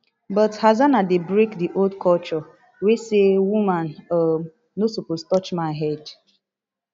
but hassana dey break di old culture wey say woman um no suppose touch man head